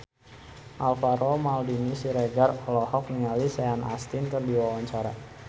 Alvaro Maldini Siregar olohok ningali Sean Astin keur diwawancara